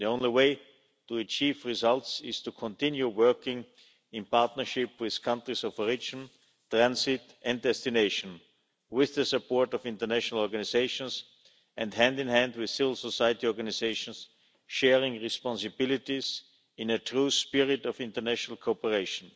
The only way to achieve results is to continue working in partnership with countries of origin, transit and destination, with the support of international organisations and hand in hand with civil society organisations, sharing responsibilities in a true spirit of international cooperation.